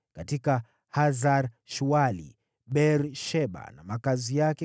katika Hasar-Shuali, katika Beer-Sheba na makazi yake,